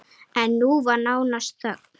En nú var nánast þögn!